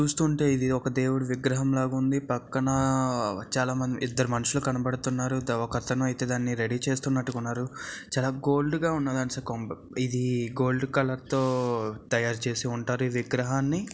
చూస్తుంటే ఇది ఒక దేవుడి విగ్రహం లాగా ఉంది. పక్కన చాలా మంది ఇద్దరు మనుషులు కనబడుతున్నారు ఒక అతను అయితే దానిని రెడీ చేస్తునట్టుగా ఉన్నారు చాలా గోల్డ్ గా ఉన్నది ఇది గోల్డ్ కలర్ తో తయారు చేసి ఉంటారు ఈ విగ్రహాన్ని.